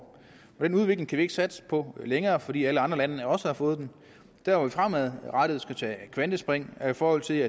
den udvikling kan vi ikke satse på længere fordi alle andre lande også har fået den der hvor vi fremadrettet skal tage et kvantespring er i forhold til